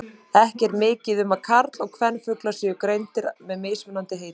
Ekki er mikið um að karl- og kvenfuglar séu greindir að með mismunandi heitum.